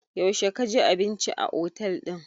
Yaushe ka ji abinci a otel ɗin?